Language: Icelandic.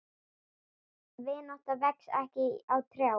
Vinátta vex ekki á trjám.